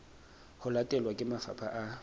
ho latelwa ke mafapha a